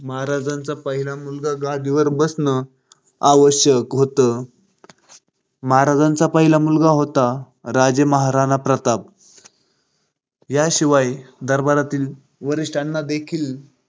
महाराजांचा पहिला मुलगा गादी वर बसण आवश्यक होतं. महाराजाचा पहिला मुलगा होता राजे महाराणा प्रताप, याशिवाय दरबारातील वरिष्ठांना देखील